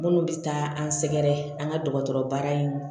Minnu bɛ taa an sɛgɛrɛ an ka dɔgɔtɔrɔ baara in